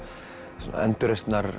svona endurreisnar